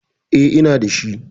Eh ina da shi